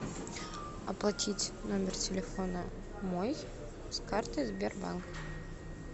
оплатить номер телефона мой с карты сбербанка